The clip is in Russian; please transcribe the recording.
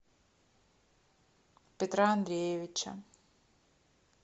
петра андреевича